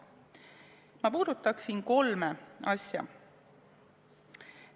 Ma puudutaksin kolme asja.